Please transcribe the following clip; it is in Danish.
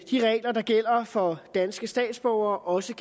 de regler der gælder for danske statsborgere også